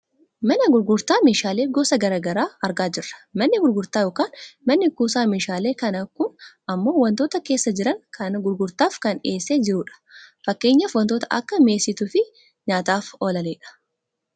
Mana gurgurtaa meeshaalee gosa gara garaa argaa jirra. Manni gurgurtaa yookaan manni kuusaa meeshaalee kana kun ammoo wantoota keessa jiran kana gurgurtaaf kan dhiyeessee jirudha. Fakkeenyaaf wantoota akka mi'eessituu fi nyaataaf oolanidha.